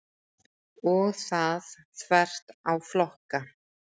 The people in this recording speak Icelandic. Og það þvert á flokka.